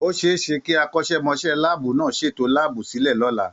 Ó ṣẹ é ṣe kí akọ́ṣẹ́mọṣẹ́ láàbù náà ṣètò láàbù sílẹ̀ lọ́la.